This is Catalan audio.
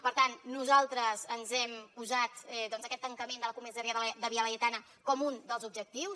per tant nosaltres ens hem posat doncs aquest tancament de la comissaria de via laietana com un dels objectius